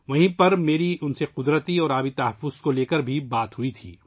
وہیں پر میری ان سے فطرت اور پانی کو بچانے کے لیے بات چیت ہوئی